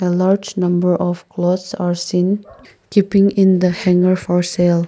the large number of clothes are seen keeping in the hanger for sale.